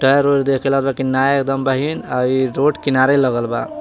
Tyre ओयर देख के लागा कि नया एकदम बहिं आर ई रोड किनारे लागल बा।